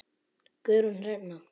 Guðrún Hrefna.